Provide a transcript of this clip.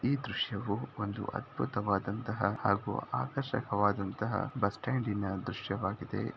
ಈ ದೃಶ್ಯವು ಒಂದು ಅದ್ಭುತವಾದಂತಹ ಹಾಗೂ ಆಕರ್ಷಕವಾದಂತಹ ಬಸ್ಟ್ಯಾಂ ಡಿನ ದೃಶ್ಯವಾಗಿದೆ .